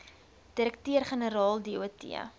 direkteur generaal dot